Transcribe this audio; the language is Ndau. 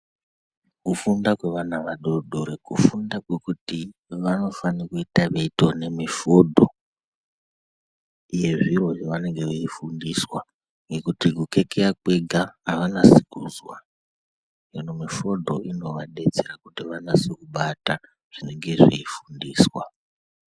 Kufunda kwevana vadodori kufunda kwekuti vanofana kuite veiona mifodho yezviro zvavanenge veifundiswa ngekuti kukekeya kwega ,avanasi kuzozwa .Hino mifodho inoabetsera kuti vanase kubata zvinenge zveifundiswa.